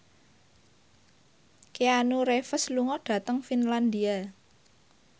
Keanu Reeves lunga dhateng Finlandia